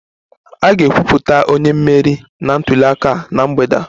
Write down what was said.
A ga-ekwupụta onye mmeri nke ntuli aka na mgbede a